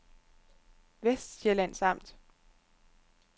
Vestsjællands Amt